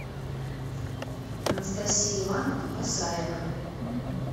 анастасия ивановна басаева